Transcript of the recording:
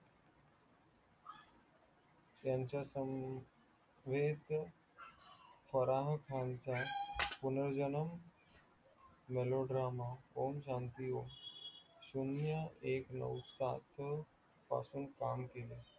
त्यांच्या समवेत फराह खानच्य पुनर्जन्म melody drama om shanti om शून्य एक नऊ सात पासुन काम केले